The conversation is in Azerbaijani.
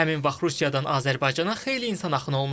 Həmin vaxt Rusiyadan Azərbaycana xeyli insan axını olmuşdu.